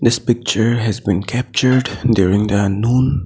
This picture has been captured during the noon.